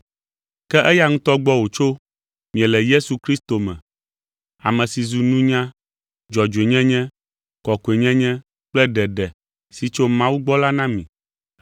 Ke eya ŋutɔ gbɔ wòtso miele Yesu Kristo me, ame si zu nunya, dzɔdzɔenyenye, kɔkɔenyenye kple ɖeɖe si tso Mawu gbɔ la na mi.